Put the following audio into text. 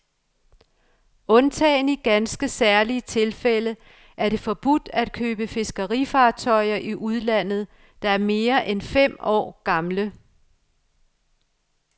Undtagen i ganske særlige tilfælde er det forbudt at købe fiskerifartøjer i udlandet, der er mere end fem år gamle.